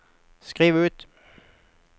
skriv ut